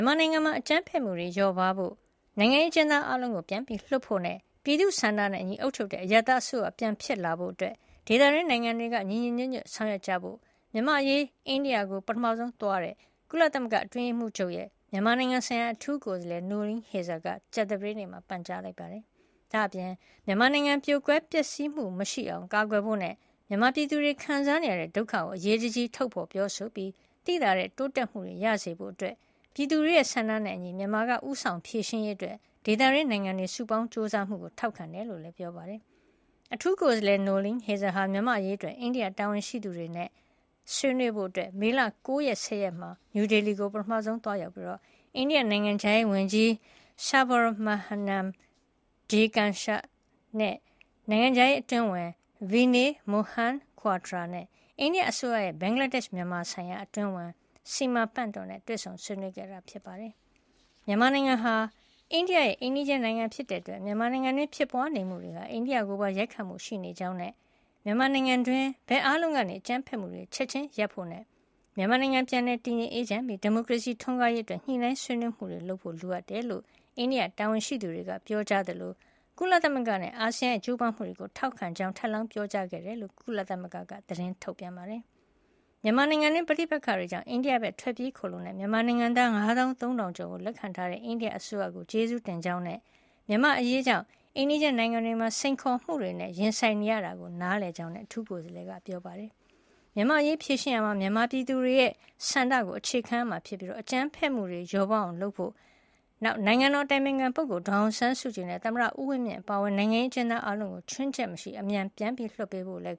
န်မာနိုင်ငံမှာ အကြမ်းဖက်မှုတွေ လျော့ပါးဖို့၊ နိုင်ငံရေးအကျဉ်းသား အားလုံးကို ပြန်လွှတ်ဖို့နဲ့ ပြည်သူတွေရဲ့ ဆန္ဒနဲ့အညီအုပ်ချုပ်တဲ့ အရပ်သားအစိုးရ ပြန်ဖြစ်လာဖို့အတွက် ဒေသတွင်းနိုင်ငံတွေက ညီညီညွတ်ညွတ် ဆောင်ရွက်ကြဖို့ မြန်မာ့အရေးအတွက် အိန္ဒိယနိုင်ငံကို ပထမဆုံး သွားရောက်ခဲ့တဲ့ ကုလသမဂ္ဂအတွင်းရေးမှုးချုပ်ရဲ့ မြန်မာနိုင်ငံ ဆိုင်ရာအထူးကိုယ်စားလှယ် Noeleen Heyzer က ကြာသပတေးနေ့မှာ ပန်ကြားလိုက်ပါတယ်။ ဒါ့အပြင် မြန်မာနိုင်ငံ ပြိုကွဲပျက်စီးမှု မရှိအောင် ကာကွယ်ဖို့နဲ့ မြန်မာပြည်သူတွေ ခံစားနေရတဲ့ ဒုက္ခကို အရေးတကြီး ထုတ်ဖေါ်ပြောဆိုပြီး သိသာတဲ့ တိုးတက်မှုတွေ ရစေဖို့ ၊ ပြည်သူတွေရဲ့ ဆန္ဒနဲ့အညီ မြန်မာက ဦးဆောင်ဖြေရှင်းရေးအတွက် ဒေသတွင်းနိုင်ငံတွေ စုပေါင်းကြိုးစားမှုကို ထောက်ခံကြောင်းလည်း ပြောပါတယ်။ အထူးကိုယ်စားလှယ် Noeleen Heyzer ဟာ မြန်မာ့အရေးအတွက် အိန္ဒိယတာဝန်ရှိသူတွေနဲ့ ဆွေးနွေးဖို့ မေလ ၉ ရက်နဲ့ ၁၀ ရက်နေ့တွေမှာ နယူးဒေလီကို ပထမဆုံး သွားရောက်ခဲ့ပြီး အိန္ဒိယနိုင်ငံခြားရေးဝန်ကြီး Subrahmanyam Jaishankar ၊ နိုင်ငံခြားရေးအတွင်းဝန် Vinay Mohan Kwatra နဲ့ အိန္ဒိယအစိုးရရဲ့ ဘင်္ဂလားဒေ့ရှ် - မြန်မာ ဆိုင်ရာအတွင်းဝန် Smita Pant တို့နဲ့လည်း တွေ့ဆုံဆွေးနွေးခဲ့ပါတယ်။ မြန်မာနိုင်ငံဟာ အိန္ဒိယရဲ့ အိမ်နီးချင်းနိုင်ငံ ဖြစ်တဲ့အတွက် မြန်မာနိုင်ငံတွင်း ဖြစ်ပွါးနေမှုတွေဟာ အိန္ဒိယနိုင်ငံကိုပါ ရိုက်ခတ်မှုရှိနေကြောင်းနဲ့ မြန်မာနိုင်ငံတွင်း ဘက်အားလုံးက အကြမ်းဖက်မှုတွေ ချက်ချင်း ရပ်ဆိုင်းဖို့၊ မြန်မာနိုင်ငံ ပြန်လည် တည်ငြိမ်အေးချမ်းပြီး ဒီမိုကရေစီ ထွန်းကားရေးအတွက် ညှိနှိုင်းဆွေးနွေးမှုတွေလုပ်ဖို့ လိုအပ်ကြောင်း အိန္ဒိယတာဝန်ရှိသူတွေက ပြောကြားသလို ကုလသမဂ္ဂနဲ့ အာဆီယံရဲ့ ကြိုးပမ်းမှုတွေကို ထောက်ခံကြောင်း ထပ်လောင်း ပြောကြားခဲ့တယ်လို့ ကုလသမဂ္ဂက သတင်းထုတ်ပြန်ပါတယ်။ မြန်မာနိုင်ငံတွင်း ပဋိပက္ခတွေကြောင့် အိန္ဒိယဖက်ကို ထွက်ပြေးခိုလှုံတဲ့ မြန်မာနိုင်ငံသား ၅၃,၀၀၀ ကျော်ကို လက်ခံထားတဲ့ အိန္ဒိယအစိုးရကို ကျေးဇူးတင်ကြောင်းနဲ့ မြန်မာ့အရေးကြောင့် အိမ်နီးချင်းနိုင်ငံတွေမှာ စိန်ခေါ်မှုတွေနဲ့ ရင်ဆိုင်နေရတာကို နားလည်ပါကြောင်းလည်း ကုလအထူးကိုယ်စားလှယ်က ပြောပါတယ်။ မြန်မာ့အရေး ဖြေရှင်းရာမှာ မြန်မာပြည်သူတွေရဲ့ ဆန္ဒကို အခြေခံရမှာဖြစ်ပြီး အကြမ်းဖက်မှုတွေ လျော့ပါးအောင် လုပ်ဖို့၊ နိုင်ငံတော် အတိုင်ပင်ခံ ဒေါ်အောင်ဆန်းစုကြည်နဲ့ သမ္မတ ဦးဝင်းမြင့် အပါအဝင် နိုင်ငံရေးအကျဉ်းသား အားလုံးကို ချွင်းချက်မရှိ အမြန် ပြန်လွှတ်ပေးဖို့လည်း